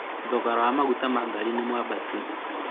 thogora wa maguta ma ngari nĩ mwabatu